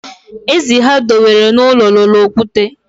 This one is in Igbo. Ezi ha dewere n'ụlọ loro okwute